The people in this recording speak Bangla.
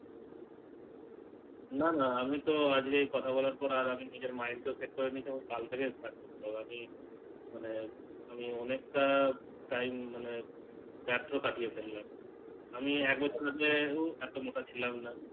নানা আমি তো আজকেই কথা বলার পর আর আমি নিজের Mind টাও টিক করে নিয়েছি কাল থেকে Start করতে হবে মানে আমি অনেকটা Time মানে বের্থ কাটিয়ে ফেললাম আমি এক বছর আগে এত মোটা ছিলাম না